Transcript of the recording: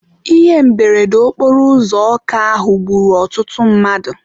Ihe mberede okporo ụzọ Ọka ahụ gburu ọtụtụ mmadụ.